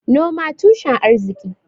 Noman tushen arki